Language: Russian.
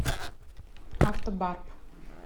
автобарп